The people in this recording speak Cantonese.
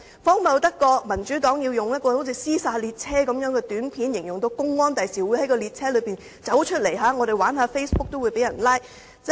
荒謬得過民主黨用猶如"屍殺列車"的短片，宣傳公安日後會在列車中拘捕玩 Facebook 的人？